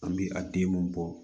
An bɛ a denw bɔ